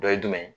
Dɔ ye jumɛn ye